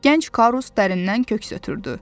Gənc Karus dərindən köks ötürdü.